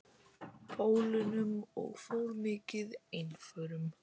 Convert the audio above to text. Pólunum og fór mikið einförum.